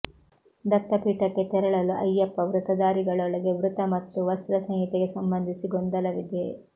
ದತ್ತಪೀಠಕ್ಕೆ ತೆರಳಲು ಅಯ್ಯಪ್ಯ ವೃತಧಾರಿಗಳೊಳಗೆ ವೃತ ಮತ್ತು ವಸ್ತ್ರ ಸಂಹಿತೆಗೆ ಸಂಬಂಧಿಸಿ ಗೊಂದಲವಿದೆ